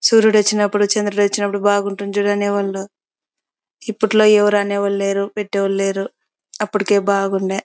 సూర్యుడు వచ్చినప్పుడు చంద్రుడు వచ్చినప్పుడు బాగుంటుంది అనేవాళ్ళు. ఇప్పట్లో ఎవరు అనే అనేవాళ్లేరు పెట్టే వాళ్ళు లేరు. అప్పటికే బాగుండే.